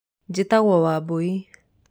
Njĩtagũo wambũi.